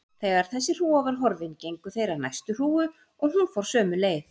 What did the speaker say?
Þegar þessi hrúga var horfin gengu þeir að næstu hrúgu og hún fór sömu leið.